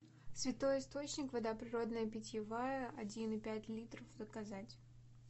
святой источник вода природная питьевая один и пять литров заказать